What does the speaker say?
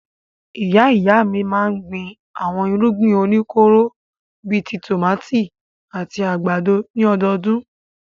Ìyá-ìyá mi máa ń gbin àwọn irúgbìn oníkóró bí i tòmátì àti àgbàdo ní ọdọọdún.